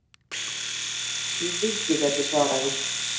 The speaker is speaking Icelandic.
Ég vildi að ég gæti svarað því.